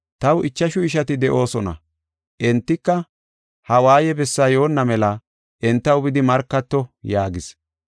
Taw ichashu ishati de7idosona, entika ha waaye bessaa yoonna mela entaw bidi markato’ yaagis.